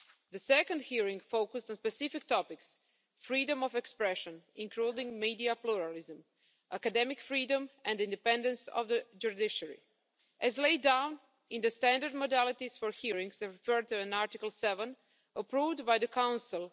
The second hearing focused on specific topics freedom of expression, including media pluralism, academic freedom and independence of the judiciary, as laid down in the standard modalities for hearings as referred to in Article 7, approved by the Council.